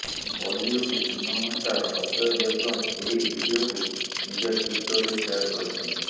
Bollywood Singham star Ajay Devgan ଏହି ଭିଡିଓକୁ ନିଜ ଟ୍ୱିଟରରେ ସେୟାର କରିଛନ୍ତି